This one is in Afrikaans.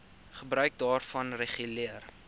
gebruik daarvan reguleer